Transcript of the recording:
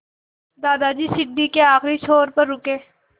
दादाजी सीढ़ी के आखिरी छोर पर रुके